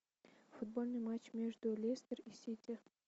футбольный матч между лестер и сити